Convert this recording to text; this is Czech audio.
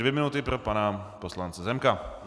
Dvě minuty pro pana poslance Zemka.